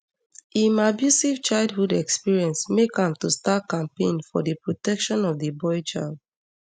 im abusive childhood experience make am to start campaign for di protection of di boy child